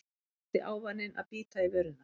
Versti ávaninn að bíta í vörina